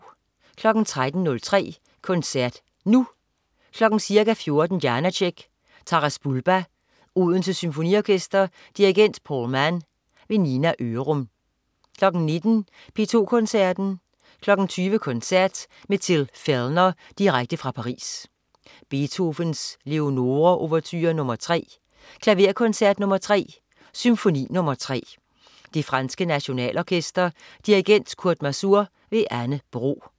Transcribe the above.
13.03 Koncert Nu. Ca. 14.00 Janácek: Taras Bulba. Odense Symfoniorkester. Dirigent: Paul Mann. Nina Ørum 19.00 P2 Koncerten. 20.00 Koncert med Till Fellner direkte fra Paris. Beethoven: Leonore Ouverture nr. 3. Klaverkoncert nr. 3. Symfoni nr. 3. Det franske Nationalorkester. Dirigent: Kurt Masur. Anne Bro